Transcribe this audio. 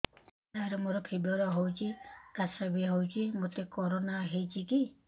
ସାର ମୋର ଫିବର ହଉଚି ଖାସ ବି ହଉଚି ମୋତେ କରୋନା ହେଇଚି କି